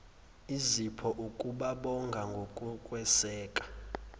izipho ukubabonga ngokukweseka